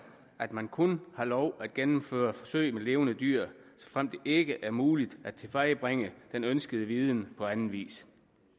at man kun har lov at gennemføre forsøg med levende dyr såfremt det ikke er muligt at tilvejebringe den ønskede viden på anden vis